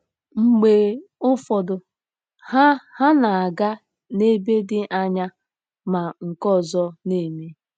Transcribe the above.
Mgbe ụfọdụ, ha ha na-aga n'ebe dị anya, ma nke ọzọ na-eme.